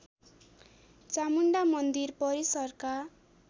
चामुण्डा मन्दिर परिसरका